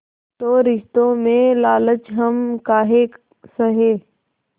तो रिश्तों में लालच हम काहे सहे